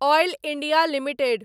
oil India limited